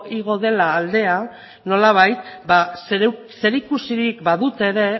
igo dela aldea nolabait zerikusirik badute ere